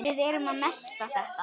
Við erum að melta þetta.